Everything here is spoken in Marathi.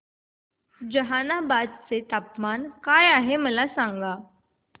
जहानाबाद चे तापमान काय आहे मला सांगा